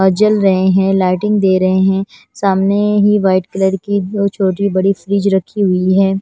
अह जल रहे हैं लाइटिंग दे रहे हैं सामने ही व्हाइट कलर की दो छोटी बड़ी फ्रिज रखी हुई हैं।